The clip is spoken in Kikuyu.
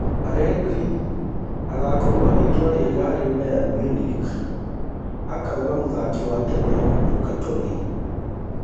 Allegri agakorwo itua rĩega harĩ Bayern Munich, akauga mũthaki wa tene Luca Toni